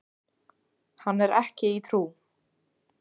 Hann er ekki í trú.